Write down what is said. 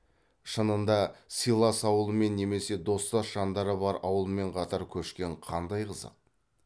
шынында сыйлас ауылмен немесе достас жандары бар ауылмен қатар көшкен қандай қызық